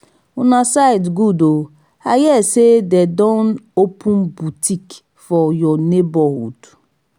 una side good oo i hear say dey don open boutique for your neighborhood